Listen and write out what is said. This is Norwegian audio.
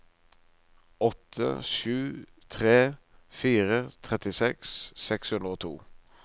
åtte sju tre fire trettiseks seks hundre og to